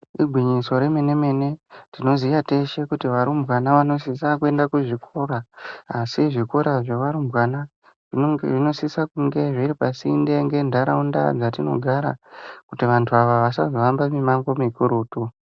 Igwinyiso remenemene, tinoziya kuti arumbwana vanosisa kuenda kuzvikora, asi zvikora zvavarumbwana zvinosise kunge zviripasinde ngentaraunda dzatinogara kuti vantu ava vasazohamba mimango mukurutu.